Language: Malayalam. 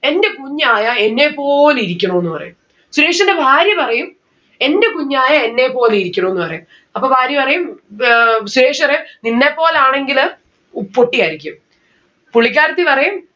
എന്റെ കുഞ്ഞായാൽ എന്നെപോലെ ഇരിക്കണമെന്ന് പറയും. സുരേഷിന്റെ ഭാര്യ പറയും എന്റെ കുഞ്ഞായ എന്നെപോലെ ഇരിക്കണോന്ന് പറയും. അപ്പൊ ഭാര്യ പറയും ബ് ഏർ സുരേഷ് പറയാ നിന്നെപ്പോലെ ആണെങ്കില് പൊട്ടിയായിരിക്കും. പുള്ളിക്കാരത്തി പറയും